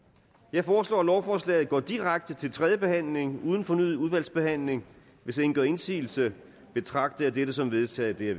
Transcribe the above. jeg foreslår at lovforslaget går direkte til tredje behandling uden fornyet udvalgsbehandling hvis ingen gør indsigelse betragter jeg dette som vedtaget det